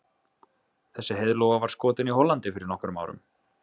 Þessi heiðlóa var skotin í Hollandi fyrir nokkrum árum.